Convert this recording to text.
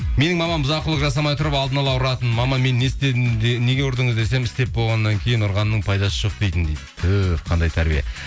менің мамам бұзалық жасамай тұрып алдына ала ұратын мама мен не істедім неге ұрдыңыз десем істеп болғаннан кейін ұрғанның пайдасы жоқ дейтін дейді түһ қандай тәрбие